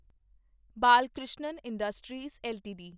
Balkrishna industries LTD